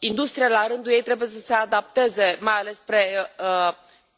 Industria, la rândul ei, trebuie să se adapteze, mai ales spre